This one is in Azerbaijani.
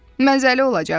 Mənzəli olacaq.